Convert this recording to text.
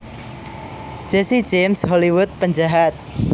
Jesse James Hollywood penjahat